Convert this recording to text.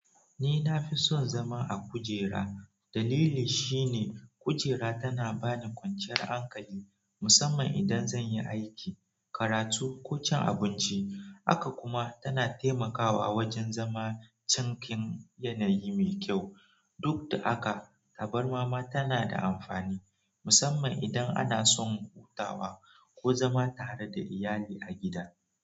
Ni na fi son zama a kujera. Dalili shine kujera tana bani kwanciyar hankali, musamman idan zan yi aiki, karatu ko cin abinci. Haka kuma tana taimakawa wajen zama cikin yanayi mai kyau. Duk da haka, tabarma ma tana da amfani, musamman idan ana son hutawa ko zama tare da iyali a gida.